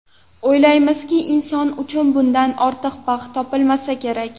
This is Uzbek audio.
O‘ylaymizki, inson uchun bundan ortiq baxt topilmasa kerak.